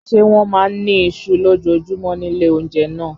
Ṣé wọ́n máa ń ní iṣu lójoojúmọ́ ní ilé-oúnjẹ náà?